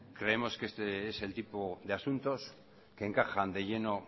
creemos que este es el tipo de asuntos que encajan de lleno